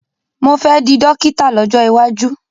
Mo fẹ́ di dọ́kítà lọ́jọ́ iwájú.